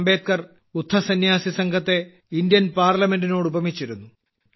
അംബേദ്ക്കർ ബുദ്ധസന്യാസിസംഘത്തെ ഇന്ത്യൻ പാർലമെന്റിനോട് ഉപമിച്ചിരുന്നു